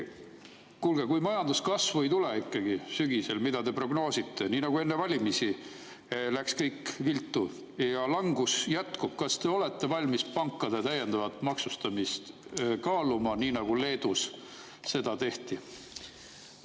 Kuulge, kui sügisel ikkagi ei tule majanduskasvu, mida te prognoosite, nii nagu enne valimisi läks kõik viltu, ja langus jätkub, kas te olete valmis pankade täiendavat maksustamist kaaluma, nii nagu Leedus seda tehti?